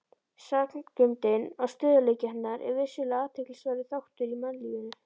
Sagngeymdin og stöðugleiki hennar er vissulega athyglisverður þáttur í mannlífinu.